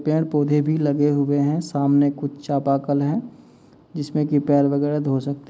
पेड़ पौधे भी लगे हुए हैं। सामने कुछ है जिसमें की पैर वगैरह धो सकते --